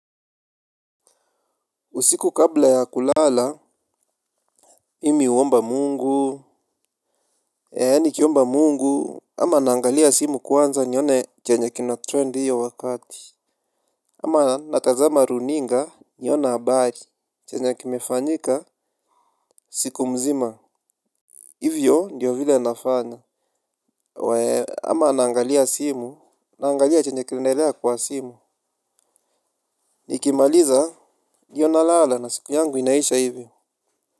Usiku kabla ya kulala mimi huomba mungu. Yaani nikiomba mungu ama naangalia simu kwanza nione chenye kina trend hiyo wakati. Ama natazama runinga nione habari chenye kimefanyika siku mzima. Hivyo ndiyo vile nafanya. Wee ama naangalia simu naangalia chenye kinaendelea kwa simu. Nikimaliza ndio nalala na siku yangu inaisha hivyo.